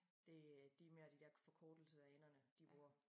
Det øh det mere de dér forkortelser af enderne de bruger